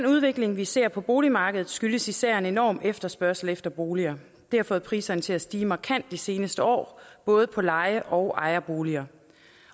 udvikling vi ser på boligmarkedet skyldes især en enorm efterspørgsel efter boliger det har fået priserne til at stige markant de seneste år både på leje og ejerboliger